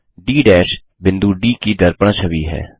D बिंदु D की दर्पण छवि है